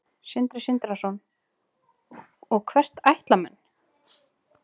Sindri Sindrason: Og hvert ætla menn?